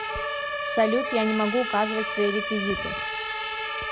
салют я не могу указывать свои реквизиты